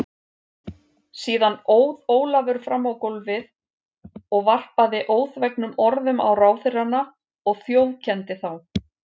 Síðan óð Ólafur fram á gólfið og varpaði óþvegnum orðum á ráðherrana og þjófkenndi þá.